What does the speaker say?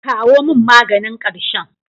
Kawo min maganin ƙarshen.